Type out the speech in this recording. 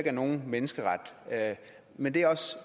er nogen menneskeret men det er